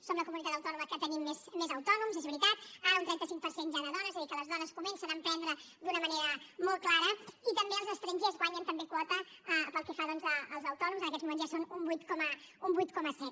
som la comunitat autònoma que tenim més autònoms és veritat ara un trenta cinc per cent ja de dones és a dir que les dones comencen a emprendre d’una manera molt clara i també els estrangers guanyen també quota pel que fa doncs als autònoms en aquests moments ja són un vuit coma set